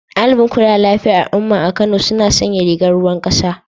Daliɓin kula da lafiyar al'umma a Kano suna sanya rigar ruwan ƙasa